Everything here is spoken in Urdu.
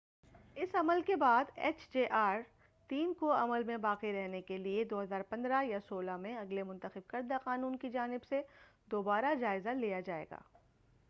اس عمل کے بعد ایچ جے آر3 کو عمل میں باقی رہنے کے لیے 2015ء یا 2016ء میں اگلے منتخب کردہ قانون کی جانب سے دوبارہ جائزہ لیا جائے گا